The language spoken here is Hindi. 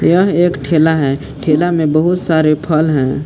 यह एक ठेला है ठेला में बहुत सारे फल है।